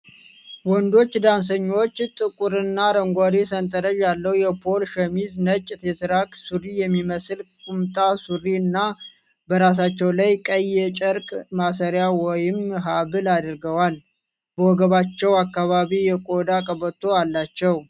ወንዶቹ ዳንሰኞች ጥቁርና አረንጓዴ ሰንጠረዥ ያለው የፖሎ ሸሚዝ፣ ነጭ የትራክ ሱሪ የሚመስል ቁምጣ ሱሪ፣ እና በራሳቸው ላይ ቀይ የጨርቅ ማሰሪያ ወይም ሀብል አድርገዋል። በወገባቸው አካባቢ የቆዳ ቀበቶ አላቸው።